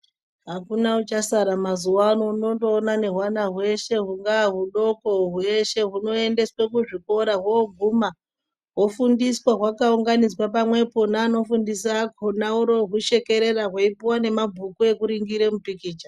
Akuna uchasara mazuwa ano, unondoona nehwana hweshe hungaa hudoko hweshe hunoendeswe kuzvikora. Hooguma hofundiswa hwakaunganidzwa pamwepo naanofundisa akhona oroohushekerera hweipuwa nemabhuku ekuringire mupikicha.